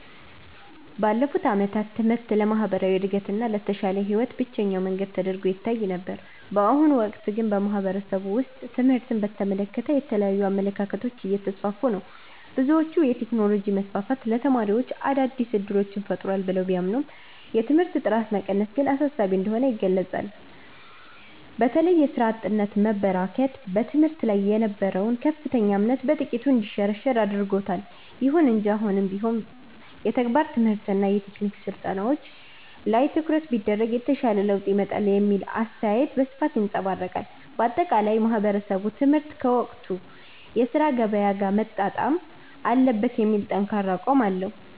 ባለፉት ዓመታት ትምህርት ለማህበራዊ እድገትና ለተሻለ ህይወት ብቸኛው መንገድ ተደርጎ ይታይ ነበር። በአሁኑ ወቅት ግን በማህበረሰቡ ውስጥ ትምህርትን በተመለከተ የተለያዩ አመለካከቶች እየተስፋፉ ነው። ብዙዎች የቴክኖሎጂ መስፋፋት ለተማሪዎች አዳዲስ እድሎችን ፈጥሯል ብለው ቢያምኑም፣ የትምህርት ጥራት መቀነስ ግን አሳሳቢ እንደሆነ ይገልጻሉ። በተለይም የሥራ አጥነት መበራከት በትምህርት ላይ የነበረውን ከፍተኛ እምነት በጥቂቱ እንዲሸረሸር አድርጎታል። ይሁን እንጂ አሁንም ቢሆን የተግባር ትምህርትና የቴክኒክ ስልጠናዎች ላይ ትኩረት ቢደረግ የተሻለ ለውጥ ይመጣል የሚለው አስተያየት በስፋት ይንፀባረቃል። ባጠቃላይ ማህበረሰቡ ትምህርት ከወቅቱ የሥራ ገበያ ጋር መጣጣም አለበት የሚል ጠንካራ አቋም አለው።